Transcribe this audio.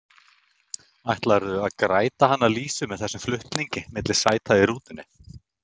Ætlarðu að græta hana Lísu með þessum flutningum milli sæta í rútunni?